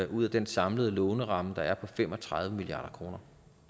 ud af den samlede låneramme der er på fem og tredive milliard kroner